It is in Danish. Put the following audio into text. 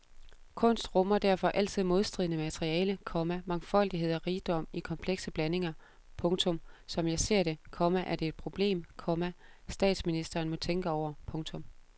Kunst rummer derfor altid modstridende materiale, komma mangfoldighed og rigdom i komplekse blandinger. punktum Som jeg ser det, komma er det et problem, komma statsministeren må tænke over. punktum